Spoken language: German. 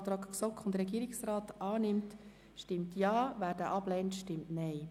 Wer diesen Antrag annimmt, stimmt Ja, wer ihn ablehnt, stimmt Nein.